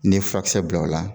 N'i ye furakisɛ bila la o la,